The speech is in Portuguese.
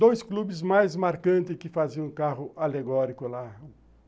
Dois clubes mais marcantes que faziam carro alegórico lá.